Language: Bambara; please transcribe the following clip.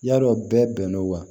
Yadɔ bɛɛ bɛnn'o ma